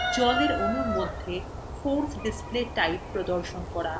জলএর অণুর মধ্যে force display type প্রদর্শন করা